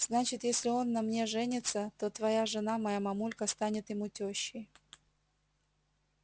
значит если он на мне женится то твоя жена моя мамулька станет ему тёщей